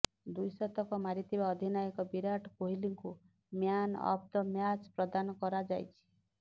ଦ୍ୱିଶତକ ମାରିଥିବା ଅଧିନାୟକ ବିରାଟ କୋହଲିଙ୍କୁ ମ୍ୟାନ୍ ଅଫ୍ ଦ ମ୍ୟାଚ୍ ପ୍ରଦାନ କରାଯାଇଛି